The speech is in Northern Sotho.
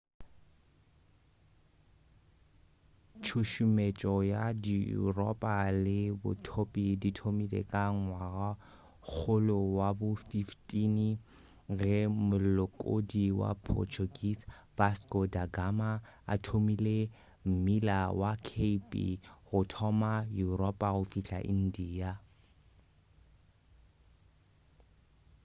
tšhušumetšo ya yuropa le bothopi di thomile ka ngwagakgolo wa bo 15 ge molekodi wa portuguese vasco da gama a thomile mmila wa cape go thoma yuropa go fihla india